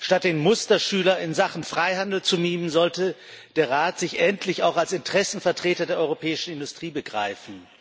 Statt den Musterschüler in Sachen Freihandel zu mimen, sollte der Rat sich endlich auch als Interessenvertreter der europäischen Industrie begreifen.